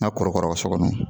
Na kɔrɔkara so kɔnɔ